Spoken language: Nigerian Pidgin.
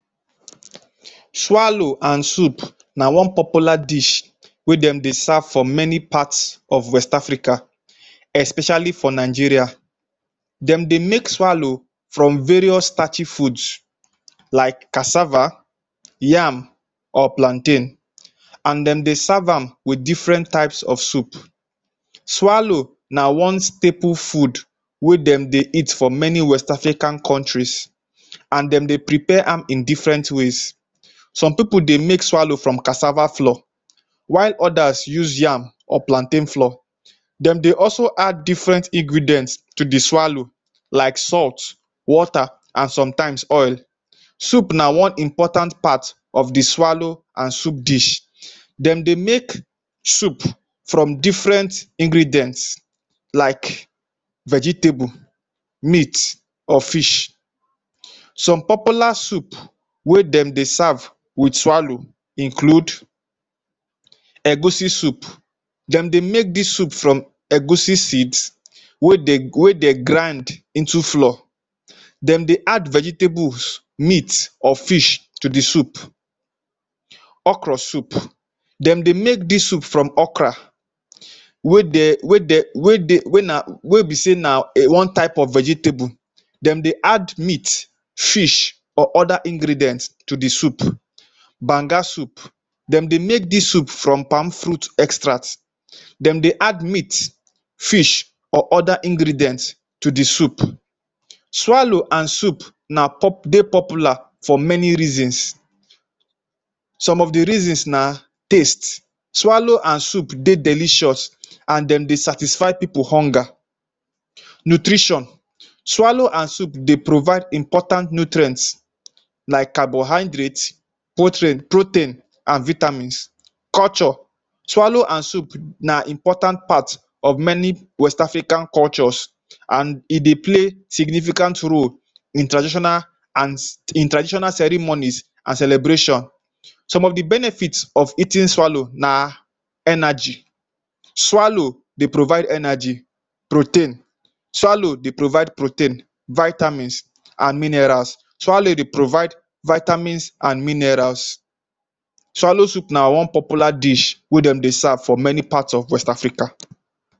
Swallow and soup na one popular dish wey dem dey serve for many party of west africa especially for Nigeria. Den dey make swallow from various starchy food like cassava, yam or plantain and dem dey serve amm with different types of soup. Swallow na one staple food wey dem dey eat for many west africa countries and dem de prepare amm in different ways some people dey make swallow from cassava flour while others use yam or plantain flour. Den dey also add different ingredients to the swallow like salt water and sometimes oil. Soup na one important part of the swallow and soup dish dem dey make soup from different ingredients like vegetables, meat or fish some popular soup wey dem de serve with swallow include egusi soup dem dey make dis soup from egusi seed wey dem grind into flour dem dey add vegetables meat or fish to the soup okra soup dem dey make dis soup from okra wey be say nah one type of vegetable dem dey add meat, fish or other ingredients to the soup. Banga soup dem dey make dis soup from palm fruit extract den dey add meat, fish or other ingredients to the soup. Swallow and soup de popular for many reasons. Some of the reasons na taste swallow and soup dey delicious and den dey satisfy pipu hunger. Nutrition Swallow and soup de provide important nutrients like carbohydrate, protein and vitamins. Culture swallow and soup na important part of many west Africa culture and e dey play significant role in traditional ceremony and celebration. Some of the benefits of eating swallow na energy swallow dey provide energy, Protein swallow dey provide protein, Vitamins and minerals Swallow dey provide Vitamins and minerals. Swallow na popular dish wey dem dey serve for many part of west Africa